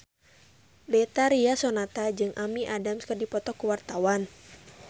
Betharia Sonata jeung Amy Adams keur dipoto ku wartawan